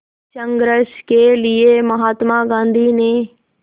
संघर्ष के लिए महात्मा गांधी ने